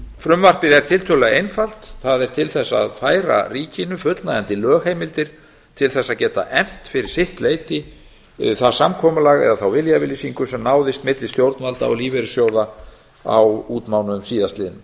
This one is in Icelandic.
frumvarpið er tiltölulega einfalt það er til þess að færa ríkinu fullnægjandi lögheimildir til þess að geta efnt fyrir sitt leyti það samkomulag eða þá viljayfirlýsingu sem náðist milli stjórnvalda og lífeyrissjóða á útmánuðum síðastliðnum